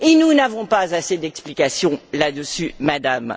Et nous n'avons pas assez d'explications là dessus, Madame.